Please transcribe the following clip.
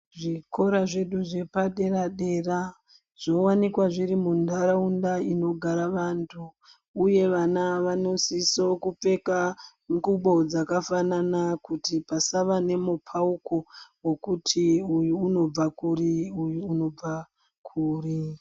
Zvikora zvedu zvepadera dera zvowanikwa zviri mundaraunda inogara vantu uye vana vansosisa kupfeka ngubo dzakasiyana ngokuti umwe anobva kuri umwe anobva kuri.